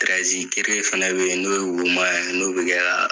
fana be yen, n'o ye wo man ye n'o bi kɛ ka